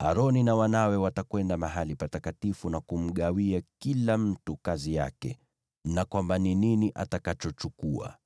Aroni na wanawe watakwenda mahali patakatifu na kumgawia kila mtu kazi yake, na kwamba ni nini atakachochukua.